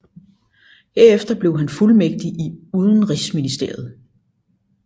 Herefter blev han fuldmægtig i Udenrigsministeriet